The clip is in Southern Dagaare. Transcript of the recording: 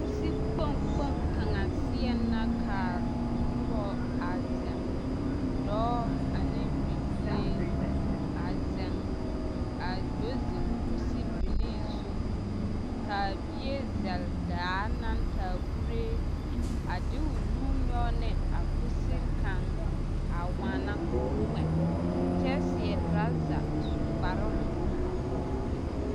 Kusi kpoŋ kpoŋ kaŋa seɛŋ la ka a noba a zeŋ dɔɔ ane bibile a zeŋ a do zeŋ kusibilii zu kaa bie zɛlle daa naŋ taa kuree a de o nu nyɔge ne a kusiri kaŋ a waana ka o ŋmɛ kyɛ seɛ trouser a su kparoŋ a pɔge o eŋɛ